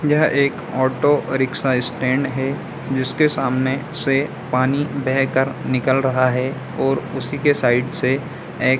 यह एक auto rickshaw stand है जिसके सामने से पानी बह कर निकल रहा है और उसी के साइड से एक --